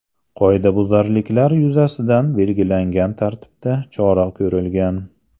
Qoidabuzarliklar yuzasidan belgilangan tartibda chora ko‘rilgan.